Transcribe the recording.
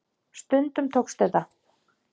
Stundum tókst þetta.